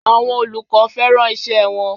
Àwọn olùkọ́ fẹ́ràn iṣẹ́ wọn.